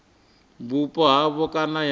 vhupo ha havho kana ya